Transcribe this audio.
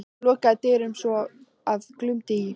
Hann lokaði dyrunum svo að glumdi í.